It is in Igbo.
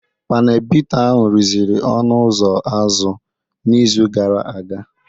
Panel bita ahụ rụziri ọnụ ụzọ azụ n'izu gara aga